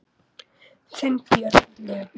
Þinn, Björn Leví.